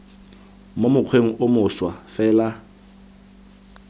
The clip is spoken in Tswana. mo mokgweng o mošwa fela